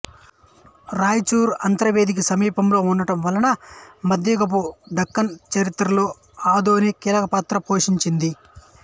రాయచూరు అంతర్వేదికి సమీపంలో ఉండటం వలన మధ్యయుగపు దక్కన్ చరిత్రలో ఆదోని కీలకపాత్ర పోషించింది